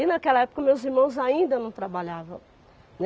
E, naquela época, o meus irmãos ainda não trabalhavam.